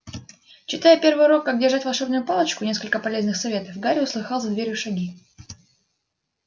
читая первый урок как держать волшебную палочку несколько полезных советов гарри услыхал за дверью шаги